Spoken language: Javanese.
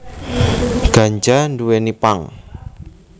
Ganja nduwèni pang